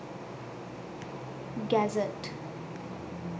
gazette